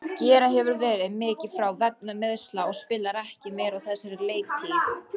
Gera hefur verið mikið frá vegna meiðsla og spilar ekki meira á þessari leiktíð.